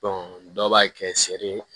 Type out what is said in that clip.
dɔw b'a kɛ seri